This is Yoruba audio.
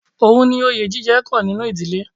Ohun ni oye jíjẹ kan nínú ìdílé.